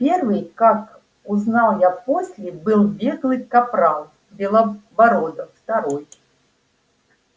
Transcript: первый как узнал я после был беглый капрал белобородов второй